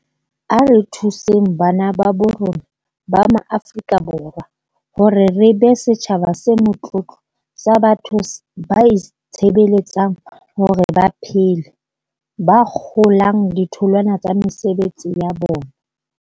A re thuseng bana babo rona ba Maaforika Borwa hore re be setjhaba se motlotlo sa batho ba itshebeletsang hore ba phele, ba kgolang ditholwana tsa mesebetsi ya bona.